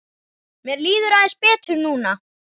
Mér líður aðeins betur núna.